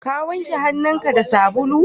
Ka wanke hannun ka da sabulu?